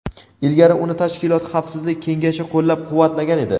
Ilgari uni tashkilot Xavfsizlik Kengashi qo‘llab-quvvatlagan edi.